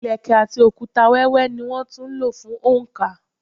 Ilẹ̀kẹ̀ àti òkúta wẹ́wẹ́ ní wón tún lò fún oǹkà.